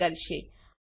print કરશે